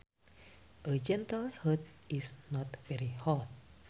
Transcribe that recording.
A gentle heat is not very hot